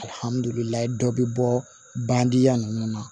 Alihamdulilayi dɔ be bɔ bandingɛ ninnu na